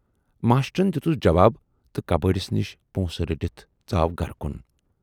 "ماشٹرن دِتُس جواب تہٕ کبٲڑِس نِش پونسہٕ رٔٹِتھ ژاو گرٕ کُن۔